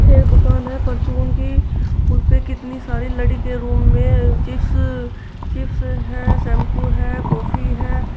यह दुकान है परचून की उसपे कितनी सारी लड़ी के रूप में चिप्स चिप्स हैं शैंपू हैं कॉफी हैं।